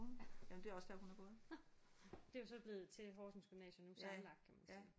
Ja. Nåh. Det er jo så blevet til Horsens gymnasium nu sammenlagt kan man sige